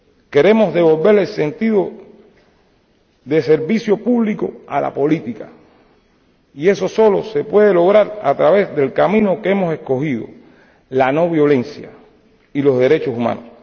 Queremos devolver el sentido de servicio público a la política, y eso solo se puede lograr a través del camino que hemos escogido la no violencia y los derechos humanos.